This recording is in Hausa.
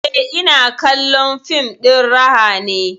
Eh, ina kallon fim ɗin raha ne